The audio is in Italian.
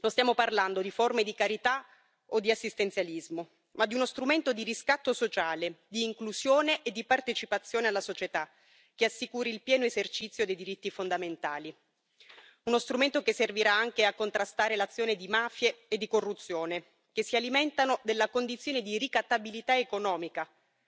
Non stiamo parlando di forme di carità o di assistenzialismo, ma di uno strumento di riscatto sociale, di inclusione e di partecipazione alla società, che assicuri il pieno esercizio dei diritti fondamentali, uno strumento che servirà anche a contrastare l'azione di mafie e di corruzione, che si alimentano della condizione di ricattabilità economica